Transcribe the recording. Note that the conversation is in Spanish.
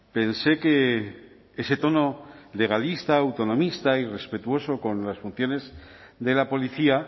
pensé que ese tono legalista autonomista y respetuoso con las funciones de la policía